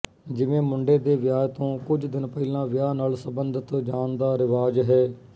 ਜਿਵੇਂ ਮੁੰਡੇ ਦੇ ਵਿਆਹ ਤੋਂ ਕੁਝ ਦਿਨ ਪਹਿਲਾਂ ਵਿਆਹ ਨਾਲ਼ ਸੰਬੰਧਿਤ ਜਾਣ ਦਾ ਰਿਵਾਜ਼ ਹੈ